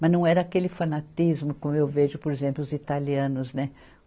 Mas não era aquele fanatismo como eu vejo, por exemplo, os italianos, né?